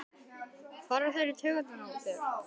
fara þeir í taugarnar á þér?